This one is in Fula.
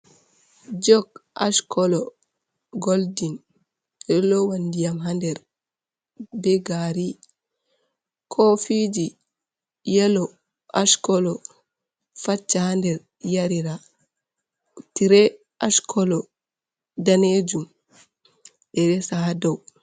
Jok ash kolo goldin, ɓeɗo lowa diyam ha nder be gari , kofiji yelo ash kolo faccha ha nder yarira, tre ash kolo danejuum ɓe resa ha dou.